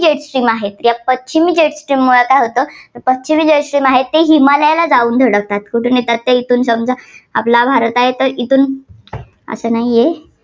आहे, पश्चिमी जो आहे, ते हिमालयला जाऊन धडकतात. कुठून येतात ते येथून समजा आपला भारत आहे तर इथून इथं नाहीये.